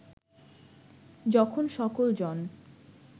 যখন সকল জন